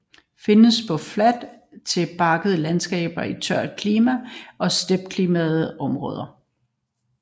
Calcisol findes på fladt til bakket landskab i tørt klima og steppeklima områder